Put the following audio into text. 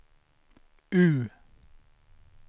U